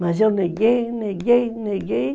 Mas eu neguei, neguei, neguei.